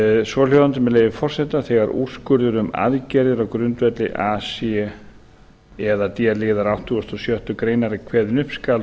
svohljóðandi með leyfi forseta þegar úrskurður um aðgerðir á grundvelli a c eða d liðar áttugasta og sjöttu grein er kveðinn upp skal